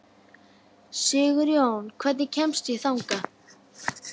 Sigurjón, hvernig kemst ég þangað?